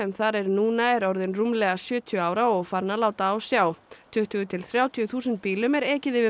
þar nú er orðin rúmlega sjötíu ára og farin að láta á sjá tuttugu til þrjátíu þúsund bílum er ekið yfir